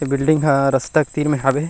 इ बिल्डिंग ह रस्ता क्लीन हवे।